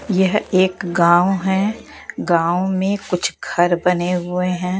यह एक गाँव है गाँव में कुछ घर बने हुए हैं।